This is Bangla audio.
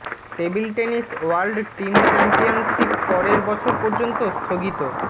table tennis world team championship পরের বছর পর্যন্ত স্থগিত